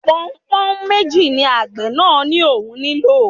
Pọnpọ́nhún méjì ni àgbẹ̀ náà ní òun nílò